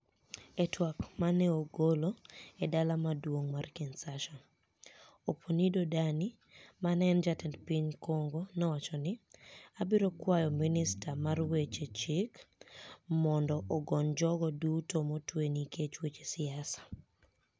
E twak ma ni e ogolo e dala maduonig ' mar KinishaSaa, Oponido Dani , ma eni jatend piniy Conigo, nowacho nii : "Abiro kwayo miniister mar weche chik monido ogoniy jogo duto motwe niikech weche siasa".